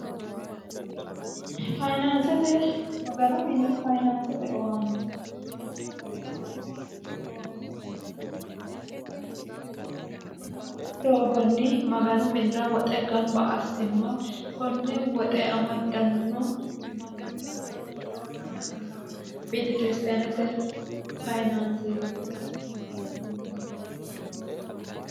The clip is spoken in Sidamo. fyinaansete maganu mini fayinaansete owaante maganu mine fayinaansete owaanto mannu babbaxitino doogonni maganu minira woxe gamba assinoha konne woxe amaddanno mannanna biiro betekiristaanete fayinaanseeti maganu mini minnanni baseeti yine heniddanni